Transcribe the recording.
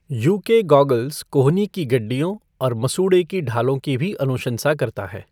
You K goggles, कोहनी गड्डीयाँ और मसूड़े ढालों की भी अनुशंसा करता है।